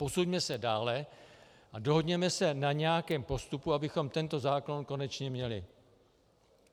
Posuňme se dále a dohodněme se na nějakém postupu, abychom tento zákon konečně měli.